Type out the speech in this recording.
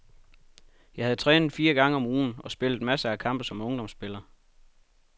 Jeg havde trænet fire gange om ugen og spillet masser af kampe som ungdomsspiller.